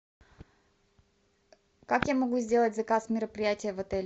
как я могу сделать заказ мероприятия в отель